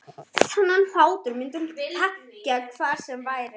Þennan hlátur myndi hún þekkja hvar sem væri.